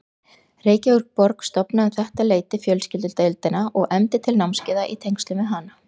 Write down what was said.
Reykjavíkurborg stofnaði um þetta leyti fjölskyldudeildina og efndi til námskeiða í tengslum við hana.